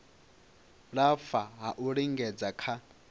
lafha ha u lingedza kha